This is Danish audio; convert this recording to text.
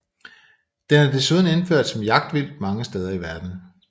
Den er desuden indført som jagtvildt mange steder i verden